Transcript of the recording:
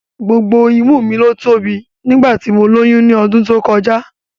Gbogbo imú mi ló tóbi nígbà tí mo lóyún ní ọdún tó kọjá